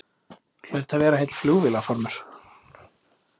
Hlaut að vera heill flugvélarfarmur.